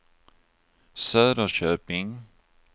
Söderköping